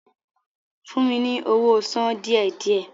Fún mi ní owó sàn díẹ̀-díẹ̀!